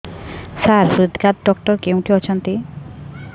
ସାର ହୃଦଘାତ ଡକ୍ଟର କେଉଁଠି ଅଛନ୍ତି